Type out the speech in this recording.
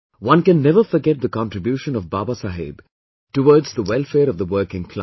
One can never forget the contribution of Babasaheb towards the welfare of the working class